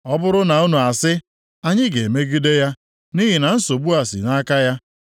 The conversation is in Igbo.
“Ọ bụrụ na unu asị, ‘Anyị ga-emegide ya nʼihi na nsogbu a si nʼaka ya,’